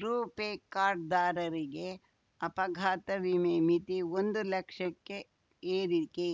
RuPay card ದಾರರಿಗೆ ಅಪಘಾತ ವಿಮೆ ಮಿತಿ ಒಂದು ಲಕ್ಷಕ್ಕೆ ಏರಿಕೆ